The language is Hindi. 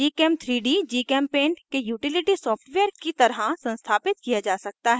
gchem3d gchempaint के utility सॉफ्टवेयर की तरह संस्थापित किया जा सकता है